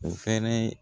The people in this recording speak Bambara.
O fɛnɛ